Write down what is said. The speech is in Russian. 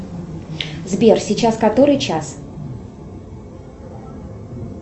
сбер сейчас который час